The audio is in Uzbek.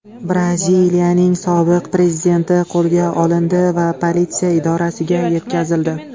Braziliyaning sobiq prezidenti qo‘lga olindi va politsiya idorasiga yetkazildi.